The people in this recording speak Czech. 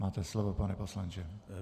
Máte slovo, pane poslanče.